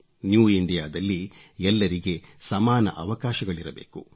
new India ದಲ್ಲಿ ಎಲ್ಲರಿಗೆ ಸಮಾನ ಅವಕಾಶಗಳಿರಬೇಕು